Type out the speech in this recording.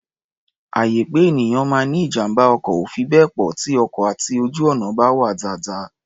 Àyè pé ènìyàn máa ní ijàm̀bá ọkọ̀ ò fi bẹ́ẹ̀ pọ̀ tí ọkọ̀ àti ojú-ọ̀nà bá wà dáadáa.